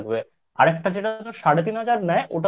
আরেকটা যেটা তোর সাড়ে তিন হাজার ax